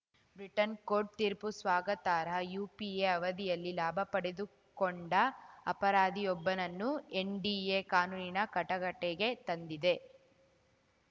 Britain court ತೀರ್ಪು ಸ್ವಾಗತಾರ್ಹ UPA ಅವಧಿಯಲ್ಲಿ ಲಾಭ ಪಡೆದುಕೊಂಡ ಅಪರಾಧಿಯೊಬ್ಬನನ್ನು ಎನ್‌ಡಿಎ ಕಾನೂನಿನ ಕಟಕಟೆಗೆ ತಂದಿದೆ